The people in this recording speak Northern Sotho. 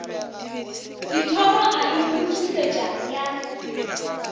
dithoro a e phuthusetša ya